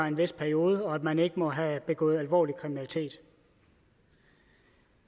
en vis periode og at man ikke må have begået alvorlig kriminalitet